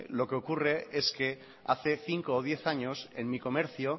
lo que ocurre es que hace cinco o diez años en mi comercio